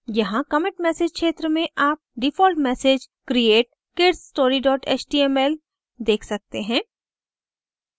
यहाँ commit message क्षेत्र में आप default message create kidsstory html देख सकते हैं